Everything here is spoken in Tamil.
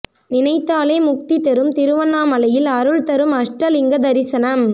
நினைத்தாலே முக்தி தரும் திருவண்ணாமலையில் அருள் தரும் அஷ்ட லிங்க தரிசனம்